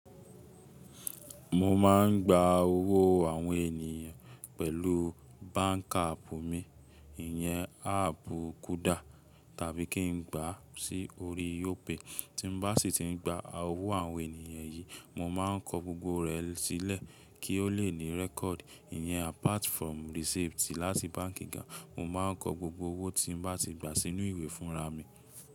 Mo ma n gba owó àwọn ènìyàn pẹ̀lú báǹkì àpù mi, ìyẹn áàpù Kúdà, tàbí kí n gbà á sí orí óòpè. Tí mo bá sì ti n gba owó àwọn ènìyàn yìí, mo ma n kọ gbogbo rẹ̀ sílẹ̀ kí ó lè ní rẹ́kọ̀dì, ìyẹn apart from receipt láti báǹkì gan, mo ma n kọ gbogbo owó tí mo bá ti gba sínú ìwé fúnra mi.